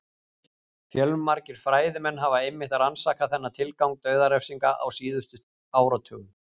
Fjölmargir fræðimenn hafa einmitt rannsakað þennan tilgang dauðarefsinga á síðustu áratugum.